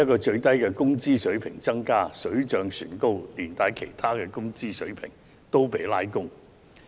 最低工資水平提升了，水漲船高，一併把其他工資水平拉高。